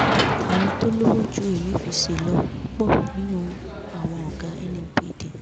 àwọn tó lọ́wọ́ ju emefíse lọ pọ̀ nínú àwọn ọ̀gá nnpd